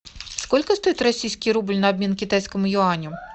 сколько стоит российский рубль на обмен китайскому юаню